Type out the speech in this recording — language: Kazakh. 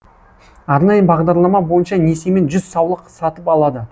арнайы бағдарлама бойынша несиемен жүз саулық сатып алады